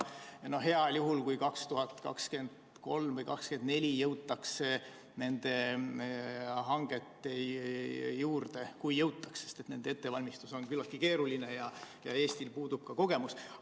Heal juhul jõutakse nende hangeteni 2023. või 2024. aastal, kui üldse jõutakse, sest nende ettevalmistus on küllaltki keeruline ja Eestil puudub ka kogemus.